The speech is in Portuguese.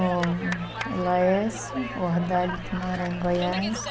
O... O Laércio, o Ardalho, que mora em Goiás.